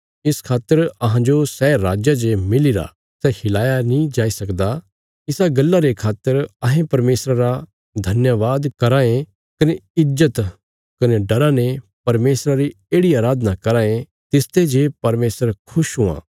इस खातर अहांजो सै राज जे मिलीरा सै हिलाया नीं जाई सकदा इसा गल्ला रे खातर अहें परमेशरा रा धन्यवाद कराँ ये कने ईज्जत कने डरा ने परमेशरा री येढ़ि अराधना कराँ ये तिसते जे परमेशर खुश हुआं